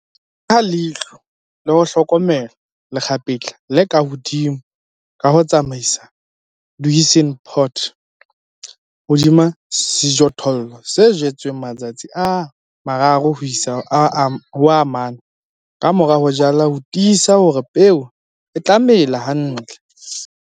Beha leihlo le ho hlokomela lekgapetla le ka hodimo ka ho tsamaisa 'duisendpoot' hodima sejothollo se jetsweng matsatsi a 3 4 ka mora ho jala ho tiisa hore peo e tla mela hantle, le